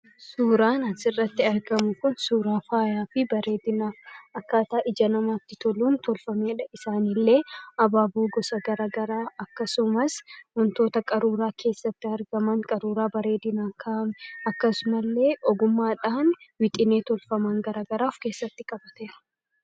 Suuraan asirratti argamu kun suuraa faayaa fi bareedinaati. Akkaataa ija namaatti toluun tolfamedha. Isaan illee habaaboo gosa garaa garaa akkasumas wantoota qaruuraa keessatti argaman qaruuraa bareedinaaf kaa'ame . Akkasuma illee ogummaadhaan wixinee tolfaman garaa garaa of keessatti qabateera.